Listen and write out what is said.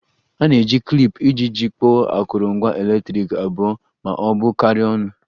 A na-eji klip iji jikọọ akụrụngwa eletriki abụọ ma ọ bụ karịa ọnụ